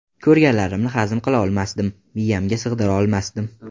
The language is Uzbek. Ko‘rganlarimni hazm qila olmasdim, miyamga sig‘dira olmasdim.